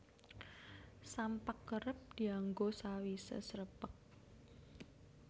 Sampak kerep dianggo sawisé srepeg